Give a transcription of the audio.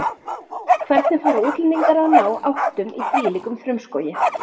Hvernig fara útlendingar að ná áttum í þvílíkum frumskógi?